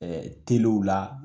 Ɛɛ la.